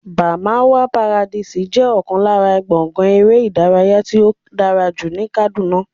Barmawa paradise jẹ́ ọ̀kan lára gbọ̀ngán eré ìdárayá tí ó dára jù ní Kàdúná